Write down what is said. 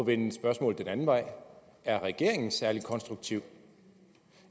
vende spørgsmålet den anden vej er regeringen særlig konstruktiv